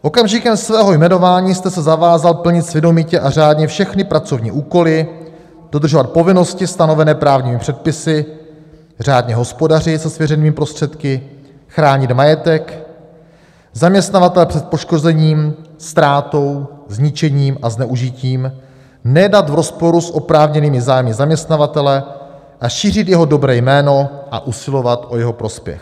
Okamžikem svého jmenování jste se zavázal plnit svědomitě a řádně všechny pracovní úkoly, dodržovat povinnosti stanovené právními předpisy, řádně hospodařit se svěřenými prostředky, chránit majetek zaměstnavatele před poškozením, ztrátou, zničením a zneužitím, nejednat v rozporu s oprávněnými zájmy zaměstnavatele a šířit jeho dobré jméno a usilovat o jeho prospěch.